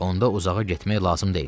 Onda uzağa getmək lazım deyil.